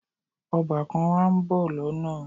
Ọbàkan wa ń bọ̀ lọ́nà